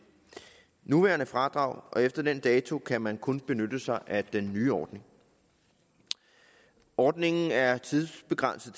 nuværende fradrag og efter den dato kan man kun benytte sig af den nye ordning ordningen er tidsbegrænset